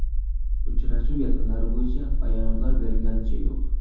Uchrashuv yakunlari bo‘yicha bayonotlar berilganicha yo‘q.